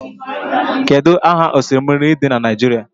Kedu aha oshimiri dị na Naijiria?